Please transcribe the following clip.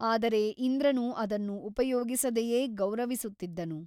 ಆದರೆ ಇಂದ್ರನು ಅದನ್ನು ಉಪಯೋಗಿಸದೆಯೇ ಗೌರವಿಸುತ್ತಿದ್ದನು.